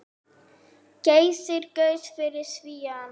Geysir gaus fyrir Svíana.